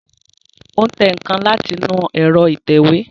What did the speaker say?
Ó tẹ nǹkan láti inú ẹ̀rọ ìtẹ̀wé